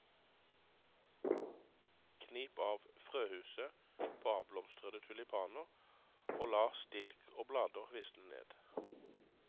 Knip av frøhuset på avblomstrede tulipaner og la stilk og blader visne ned.